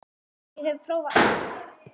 Ég hef prófað allt!